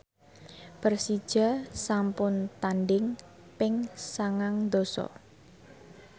Persija sampun tandhing ping sangang dasa